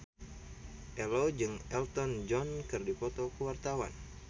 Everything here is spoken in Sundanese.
Ello jeung Elton John keur dipoto ku wartawan